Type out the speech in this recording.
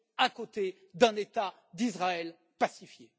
à côté d'un État d'Israël pacifié.